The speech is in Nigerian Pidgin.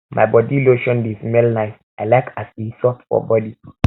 my body lotion dey smell nice i like as e soft for body